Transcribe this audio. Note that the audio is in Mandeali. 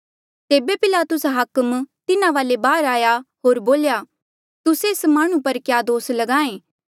तेबे पिलातुस हाकम तिन्हा वाले बाहर आया होर बोल्या तुस्से एस माह्णुं पर क्या दोस ल्गाहें